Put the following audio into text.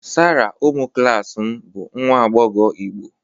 Sarah ụmụ klas m bụ nwa agbọghọ Igbo